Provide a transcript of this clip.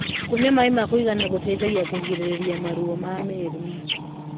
kũnyua maĩ makuigana gũteithagia kũgirĩrĩrĩa maruo ma miiri